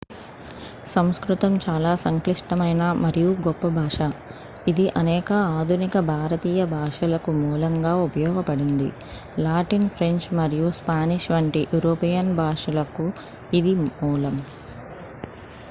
సంస్కృతం చాలా సంక్లిష్టమైన మరియు గొప్ప భాష ఇది అనేక ఆధునిక భారతీయ భాషలకు మూలంగా ఉపయోగపడింది లాటిన్ ఫ్రెంచ్ మరియు స్పానిష్ వంటి యూరోపియన్ భాషలకు మూలం